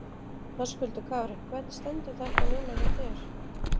Höskuldur Kári: Hvernig stendur þetta núna hjá þér?